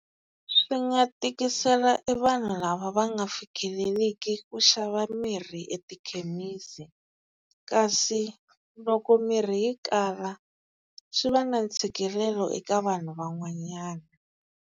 Swi nga tikisela i vanhu lava va nga fikeleliki ku xava mirhi etikhemisi, kasi loko mirhi yi kala swi va na ntshikelelo eka vanhu van'wanyana.